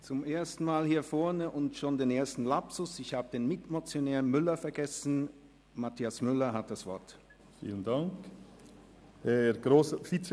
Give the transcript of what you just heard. Zum ersten Mal hier vorne und schon ein Lapsus: Ich habe den Mitmotionär, Grossrat Mathias Müller, vergessen.